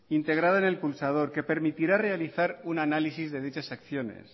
integrado en el pulsador que permitirá realizar un análisis de dichas acciones